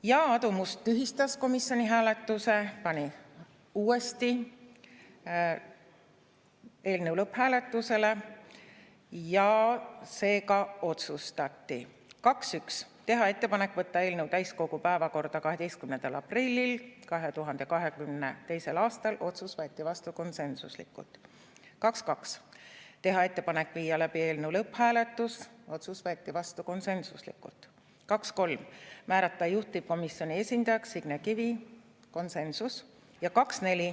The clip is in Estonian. Ja Aadu Must tühistas komisjoni hääletuse, pani uuesti eelnõu hääletusele ja seega otsustati: teha ettepanek võtta eelnõu täiskogu päevakorda 12. aprillil 2022. aastal, otsus võeti vastu konsensuslikult; teha ettepanek viia läbi eelnõu lõpphääletus, otsus võeti vastu konsensuslikult; määrata juhtivkomisjoni esindajaks Signe Kivi, konsensus.